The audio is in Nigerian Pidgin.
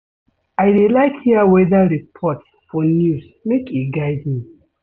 I dey like hear weather report for news make e guide me.